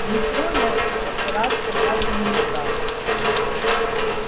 в метро я забираться так и не стал